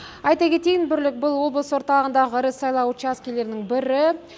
айта кетейін бірлік бұл облыс орталығындағы ірі учаскелердің бірі